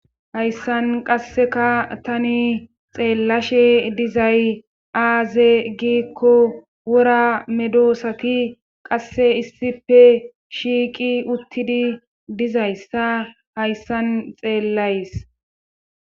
hayssan qasseka tani xeellashe dizay aaze giikko wora medosati qasse issife shiiqi uttidi dizayssa hayssan xeellays